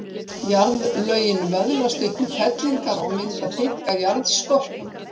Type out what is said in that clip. Jarðlögin vöðlast upp í fellingar og mynda þykka jarðskorpu.